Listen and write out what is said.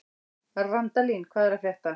Randalín, hvað er að frétta?